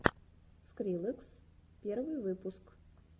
скриллекс первый выпуск